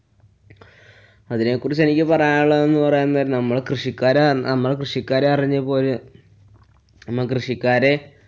അതിനെകുറിച്ചെനിക്കു പറയാനുള്ളതെന്നു പറയാന്‍ നേരം നമ്മള്‍ കൃഷിക്കാരെ~ നമ്മള്‍ കൃഷിക്കാരെ അറിഞ്ഞ പോലെ നമ്മള്‍ കൃഷിക്കാരെ